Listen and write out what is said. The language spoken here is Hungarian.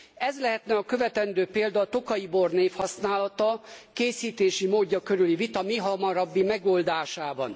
Ez lehetne a követendő példa a tokaji bor névhasználata, készítési módja körüli vita mihamarabbi megoldásában.